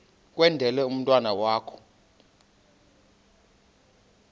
kwendele umntwana wakho